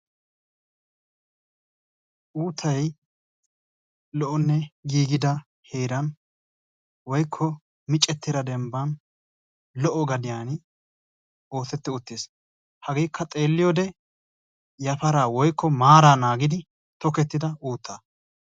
Uuttay lo"onne giigida heeran woykko micettida dembbaan lo"o gadiyaan oosettidi uttiis. hageekka yafaraa woykko maaraa naangidi tokettida uuttaa.